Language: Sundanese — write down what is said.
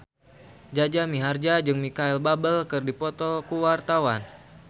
Jaja Mihardja jeung Micheal Bubble keur dipoto ku wartawan